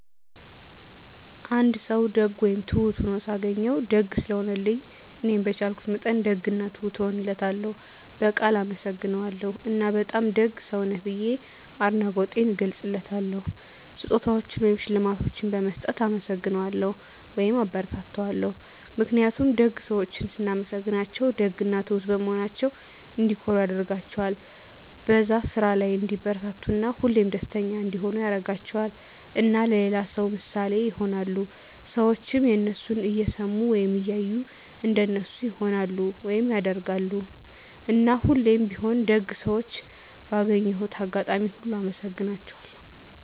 አንድ ሰዉ ደግ ወይም ትሁት ሁኖ ሳገኘዉ፤ ደግ ስለሆነልኝ እኔም በቻልኩት መጠን ደግ እና ትሁት እሆንለታለሁ፣ በቃል አመሰግነዋለሁ እና በጣም ደግ ሰዉ ነህ ብዬ አድናቆቴንም እገልፅለታለሁ። ስጦታዎችን ወይም ሽልማቶችን በመስጠት እናመሰግነዋለሁ (አበረታታዋለሁ) ። ምክንያቱም ደግ ሰዎችን ስናመሰግናቸዉ ደግ እና ትሁት በመሆናቸዉ እንዲኮሩ ያደርጋቸዋል፣ በዛ ስራ ላይ እንዲበረታቱ እና ሁሌም ደስተኛ እንዲሆኑ ያደርጋቸዋል። እና ለሌላ ሰዉ ምሳሌ ይሆናሉ። ሰዎችም የነሱን እየሰሙ ወይም እያዩ እንደነሱ ይሆናሉ (ያደርጋሉ)። እና ሁሌም ቢሆን ደግ ሰዎችን ባገኘሁት አጋጣሚ ሁሉ አመሰግናቸዋለሁ።